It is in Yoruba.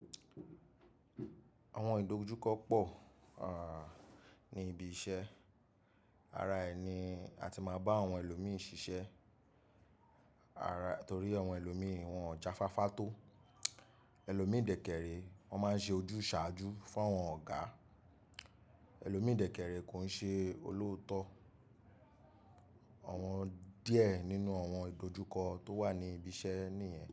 Àwọn ìdojúkọ pọ̀, ní ibi iṣẹ́. Ara ẹni a ti máa bá àwọn ẹlòmí ṣiṣẹ́. Ara-- torí àwọn ẹlòmí wọn jáfáfá tó. Ẹlòmíìdẹ̀ẹ̀kẹ̀rẹ̀ wọn máa ń ṣe ojúsàájú fún àwọn ọ̀gá. Ẹlòmíìdẹ̀ẹ̀kẹ̀rẹ̀ kò ń ṣe olóòótọ́. Àwọn díẹ̀ nínú àwọn ìdojúkọ tó wà ní ibi iṣẹ́ nìyẹn.